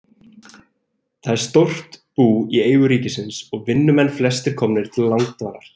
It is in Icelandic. Þetta er stórt bú í eigu ríkisins og vinnumenn flestir komnir til langdvalar.